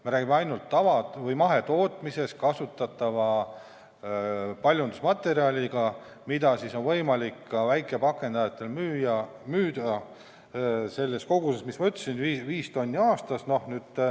Me räägime ainult mahetootmises kasutatavast paljundusmaterjalist, mida on võimalik ka väikepakendajatel müüa sellises koguses, mis ma ütlesin, 5 tonni aastas.